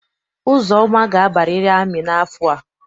Uzoma ga-abariri amị n'afọ a!